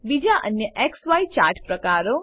બીજા અન્ય ઝાય ચાર્ટ પ્રકારો 3